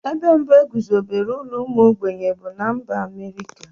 Ebe mbụ e guzobere ụlọ ụmụ ogbenye bụ na mba Amerịka.